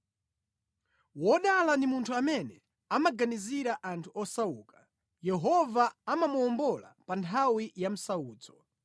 Wodala ndi munthu amene amaganizira anthu osauka; Yehova amamuwombola pa nthawi yamsautso.